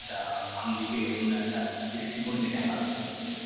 একটা আঙ্গিকে অন্য একটা দৃষ্টিকোণ নিয়ে দেখানো হচ্ছে